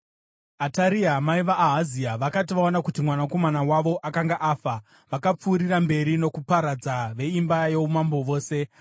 Ataria mai vaAhazia vakati vaona kuti mwanakomana wavo akanga afa, vakapfuurira mberi nokuparadza veimba youmambo vose.